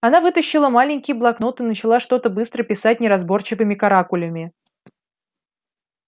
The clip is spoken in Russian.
она вытащила маленький блокнот и начала что-то быстро писать неразборчивыми каракулями